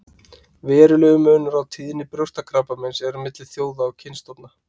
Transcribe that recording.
Verulegur munur á tíðni brjóstakrabbameins er milli þjóða og kynstofna.